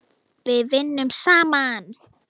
Við vinnum saman!